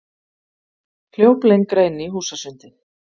Hljóp lengra inn í húsasundið.